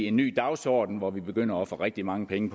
en ny dagsorden hvor vi begynder at få rigtig mange penge